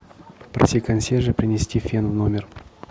попроси консьержа принести фен в номер